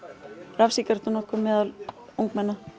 rafsígarettunotkun meðal ungmenna